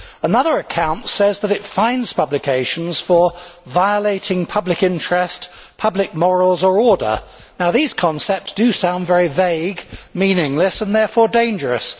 Another account says that it fines publications for violating public interest, public morals or order'. Now these concepts do sound very vague, meaningless and therefore dangerous